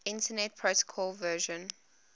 internet protocol version